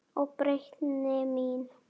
Og breytni mín.